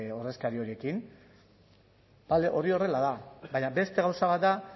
ordezkari horiekin bale hori horrela da baina beste gauza bat da